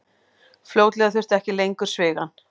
Fljótlega þurfti ekki lengur svigann.